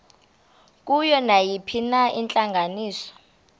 kuyo nayiphina intlanganiso